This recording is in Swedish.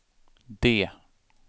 D